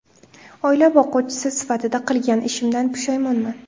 Oila boquvchisi sifatida qilgan ishimdan pushaymonman.